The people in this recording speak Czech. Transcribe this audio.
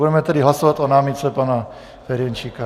Budeme tedy hlasovat o námitce pana Ferjenčíka.